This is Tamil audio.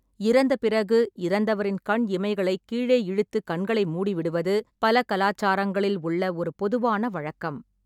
இறந்த பிறகு, இறந்தவரின் கண் இமைகளை கீழே இழுத்து கண்களை மூடிவிடுவது பல கலாச்சாரங்களில் உள்ள ஒரு பொதுவான வழக்கம்.